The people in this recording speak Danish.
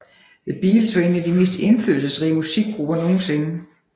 The Beatles var en af de mest indflydelsesrige musikgrupper nogensinde